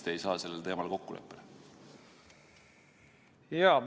Miks te ei saa sellel teemal kokkuleppele?